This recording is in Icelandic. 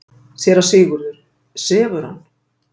SÉRA SIGURÐUR: Sefur hann?